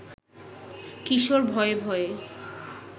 কিশোর ভয়ে ভয়ে